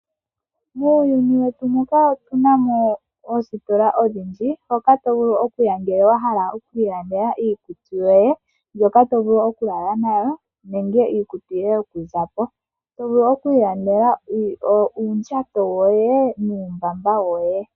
Muuyuni wetu muka otu namo oositola odhindji mpoka tovulu okuya ngele wahala okwiilandela iikutu yoye, ndjoka tovulu oku lala nayo nenge iikutu yoye yokuzapo. tovulu okwiilandela uundjato woye nuumbaba woye.